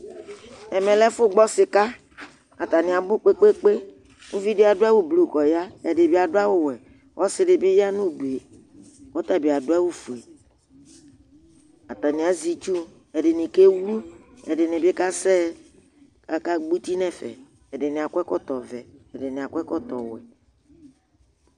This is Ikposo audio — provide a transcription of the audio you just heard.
ɛmɛ lɛ ɛƒʋ gbɔ sika atani abʋ kpekpekpe, ʋvidi adʋ awʋ blue kʋ ɔya, ɛdibi adʋ awʋ wɛ, ɔsiidi bi yanʋ ʋdʋɛ kʋ ɔtabi adʋ awʋ ƒʋɛ, atani azɛ itsʋ ɛdini kɛ wlʋ ɛdinidi kazɛ kʋ aka gbɔ ʋti nʋɛƒɛ ɛdini akɔ ɛkɔtɔ vɛ, ɛdiniakɔ ɛkɔtɔ wɛ